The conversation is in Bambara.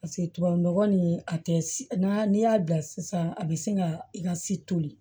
paseke tubabu nɔgɔ nin a tɛ n'a n'i y'a bila sisan a bi se ka i ka si toli